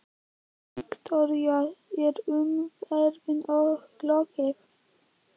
Viktoría, er umræðum lokið?